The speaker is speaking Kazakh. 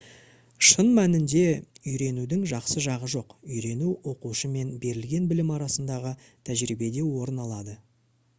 шын мәнінде үйренудің жақсы жағы жоқ үйрену оқушы мен берілген білім арасындағы тәжірибеде орын алады